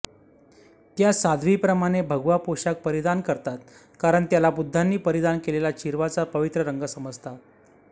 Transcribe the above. त्या साध्वीप्रमाणे भगवा पोषाख परिधान करतात कारण याला बुद्धांनी परिधान केलेल्या चिरवाचा पवित्र रंग समजतात